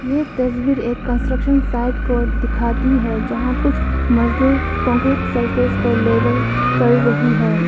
ये तस्वीर एक कंस्ट्रक्शन साइट को दिखाती है यहां कुछ मजदूर कंक्रीट सरफेस को लेवल कर रही है।